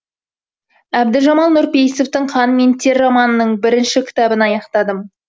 әбдіжамал нұрпейісовтың қан мен тер романының бірінші кітабын аяқтадым